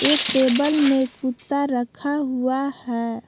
एक टेबल में कुत्ता रखा हुआ है।